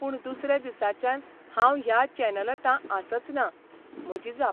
पूण दुसऱ्या दिसाच्यान हांव ह्या चॅनलतां आसच ना. म्हजी जाप.